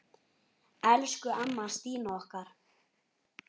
Elsku amma Stína okkar.